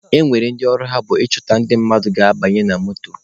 E nwere ndị ọrụ ha bụ ịchọta ndị mmadụ ga-abanye na moto.